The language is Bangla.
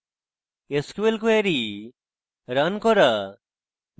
sql কোয়েরি রান করা